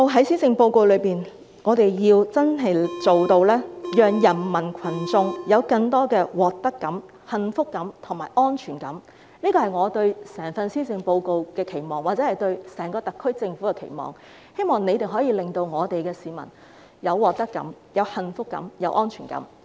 施政報告如何能真正做到讓人民群眾有更多獲得感、幸福感及安全感，這是我對整份施政報告或整個特區政府的期望，希望政府能夠令市民有獲得感、幸福感及安全感。